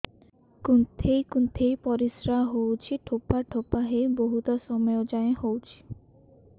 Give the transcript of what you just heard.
କୁନ୍ଥେଇ କୁନ୍ଥେଇ ପରିଶ୍ରା ହଉଛି ଠୋପା ଠୋପା ହେଇ ବହୁତ ସମୟ ଯାଏ ହଉଛି